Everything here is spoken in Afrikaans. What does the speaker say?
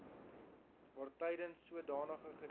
waartydens sodanige gedeelte